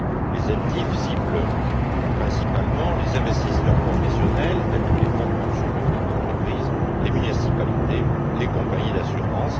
Les ELTIF ciblent principalement les investisseurs professionnels tels que les fonds de pension locaux ou d'entreprises, les municipalités, les compagnies d'assurance.